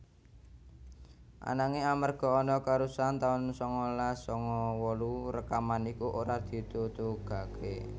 Ananging amarga ana kerusuhan taun sangalas sanga wolu rekaman iku ora ditutugaké